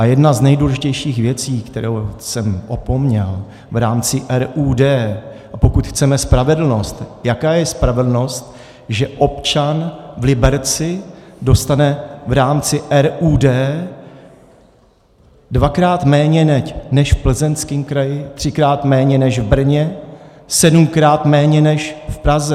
A jedna z nejdůležitějších věcí, kterou jsem opomněl v rámci RUD, a pokud chceme spravedlnost - jaká je spravedlnost, že občan v Liberci dostane v rámci RUD dvakrát méně než v Plzeňském kraji, třikrát méně než v Brně, sedmkrát méně než v Praze?